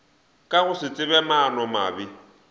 ka go se tsebe maanomabe